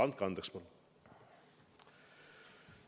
Andke andeks palun!